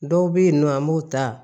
Dɔw bɛ yen nɔ an b'u ta